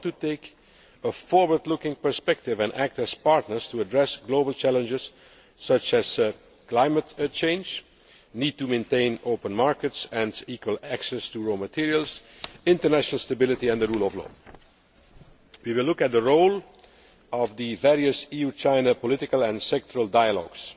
We want to take a forward looking perspective and act as partners to address global challenges such as climate change, the need to maintain open markets and equal access to raw materials, international stability and the rule of law. We will look at the role of the various EU China political and sectoral dialogues.